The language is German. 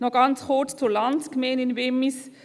Noch ganz kurz zur Landsgemeinde in Wimmis: